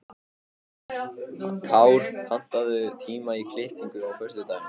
Kár, pantaðu tíma í klippingu á föstudaginn.